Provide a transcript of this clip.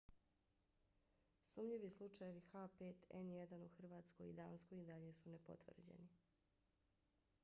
sumnjivi slučajevi h5n1 u hrvatskoj i danskoj i dalje su nepotvrđeni